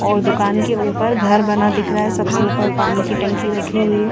और दुकान के उपर घर बना हुआ दिख रहा है सबसे उपर पाणी की टंकी रखी हुई है।